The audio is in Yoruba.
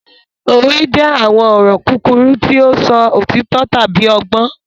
Òwe jẹ àwọn ọ̀rọ̀ kúkúrú ti o sọ òtító tábi ọgbọ́n.